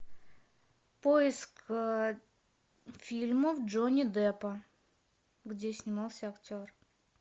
поиск фильмов джонни деппа где снимался актер